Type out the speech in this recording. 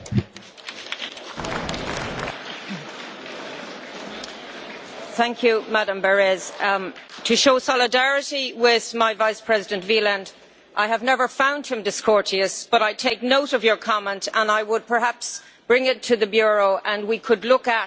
Ms Berès, to show solidarity with Vice President Wieland, I have never found him discourteous, but I take note of your comment. I will perhaps bring it to the Bureau and we could look at this issue because I also get criticism when I am very strict with time.